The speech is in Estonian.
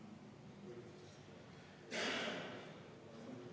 10 minutit vaheaega EKRE fraktsiooni palvel.